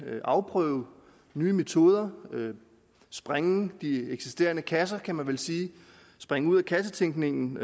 afprøve nye metoder sprænge de eksisterende kasser kan man vel sige springe ud af kassetænkningen